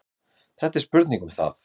Þetta er spurning um það.